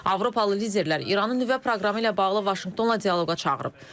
Avropalı liderlər İranı nüvə proqramı ilə bağlı Vaşinqtonla dialoqa çağırıb.